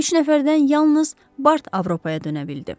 Üç nəfərdən yalnız Bart Avropaya dönə bildi.